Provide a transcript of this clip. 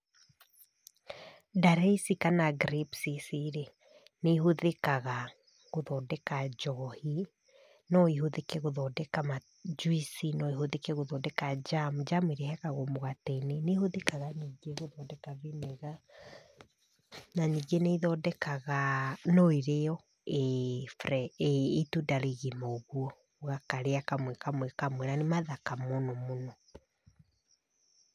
Ndare ici kana grapes ici rĩ, nĩ ihũthĩkaga gũthondeka njohi, no ihũthĩke gũthondeka njuici, no ihũthĩke gũthondeka jam, jam ĩrĩa ĩhakagwo mũgate-inĩ, nĩ ihũthĩkaga ningĩ gũthondeka vinegar, na ningĩ nĩ ithondekaga, no ĩrĩo ĩ itunda rĩgima ũguo, ũgakarĩa kamwe kamwe kamwe na nĩ mathaka mũno mũno.